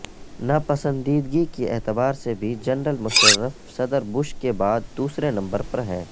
ناپسندیدگی کے اعتبار سے بھی جنرل مشرف صدر بش کے بعد دوسرے نمبر پر ہیں